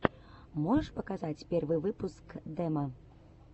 можешь показать первый выпуск демо